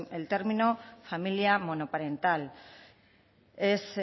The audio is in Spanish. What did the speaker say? el término familia monoparental es